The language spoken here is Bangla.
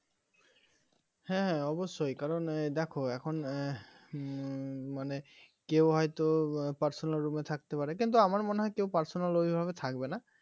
হ্যাঁ হ্যাঁ অবশ্যই কারণ দেখো এখন উম ম~ মানে কেউ হয়তো personal room এ থাকতে পারে কিন্তু আমার মনে হয় কেউ personal ওইভাবে থাকবে না